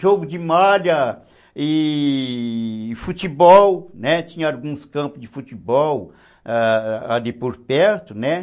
Jogo de malha e futebol, né, tinha alguns campos de futebol ali por perto, né.